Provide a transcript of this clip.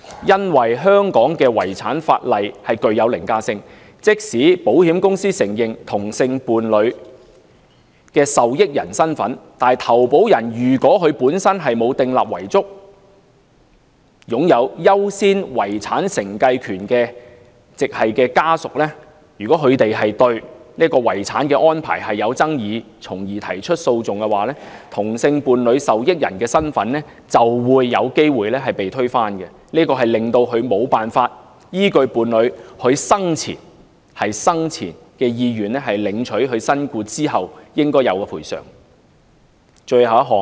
由於香港的遺產法例具凌駕性，即使保險公司承認同性伴侶的受益人身份，但如果投保人本身沒有訂立遺囑，而擁有優先遺產承繼權的直系家屬對遺產安排有爭議而提起訴訟的話，同性伴侶的受益人身份就會有機會被推翻，導致無法依據伴侶生前的意願，領取其身故之後應有的賠償。